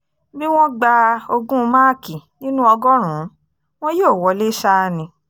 bí wọ́n gba ogún máàkì nínú ọgọ́rùn-ún wọn yóò wọlé ṣáá ni